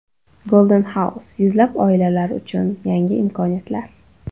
Golden House: Yuzlab oilalar uchun yangi imkoniyatlar.